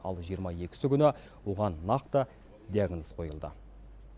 ал жиырма екісі күні оған нақты диагноз қойылды